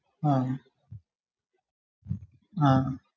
ആ ആഹ്